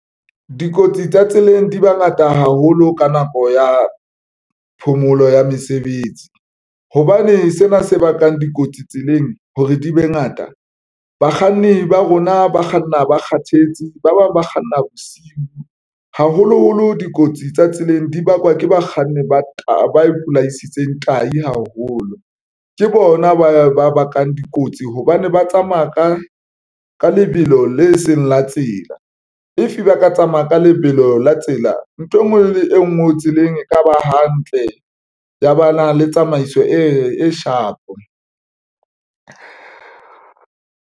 Dikotsi tsa tseleng di ba ngata haholo ka nako ya phomolo ya mesebetsi hobane sena se bakang dikotsi tseleng hore di be ngata. Bakganni ba rona ba kganna ba kgathetse, ba bang ba kganna bosiu. Haholoholo dikotsi tsa tseleng di bakwa ke bakganni ba taba e palamisitseng tahi haholo. Ke bona ba ba bakang dikotsi hobane ba tsamaya ka ka lebelo le seng tsela, if ba ka tsamaya ka lebelo la tsela nthwe ngwe le e nngwe e tseleng e ka ba hantle ya bana le tsamaiso e shapo.